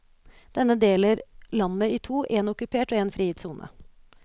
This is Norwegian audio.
Denne deler landet i to, en okkupert og en frigitt sone.